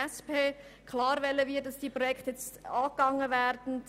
Klar wollen wir, dass diese Projekte jetzt angegangen werden.